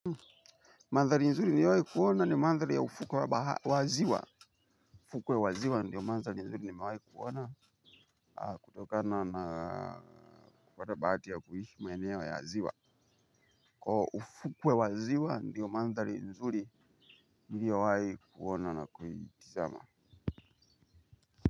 Mandhali nzuri niwai kuona ni mandhali ya ufukwe waziwa. Ufukwe wa ziwa ndo mandhali nzuri nimai kuona kutokana na kupata baati ya kuishi maeneo ya ziwa. Kwa ufukwe wa ziwa ndiyo mandhali nzuri niliowai kuona na kuiitizama.